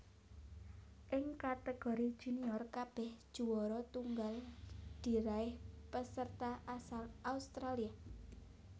Ing kategori junior kabèh juwara tunggal diraih peserta asal Australia